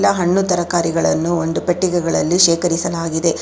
The ಹಣ್ಣುತರಕಾರಿಗಳನ್ನು ಒಂದು ಪೆಟ್ಟಿಗೆಗಳಲ್ಲಿ ಶೇಖರಿಸಲಾಗಿದೆ.